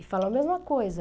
E falou a mesma coisa.